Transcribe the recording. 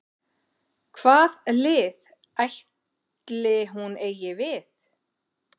Hvað lið ætli hún eigi við?